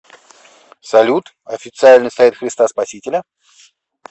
салют официальный сайт христа спасителя